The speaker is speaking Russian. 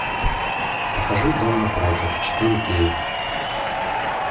покажи дом напротив четыре кей